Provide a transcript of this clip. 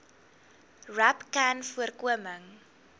rapcanvoorkoming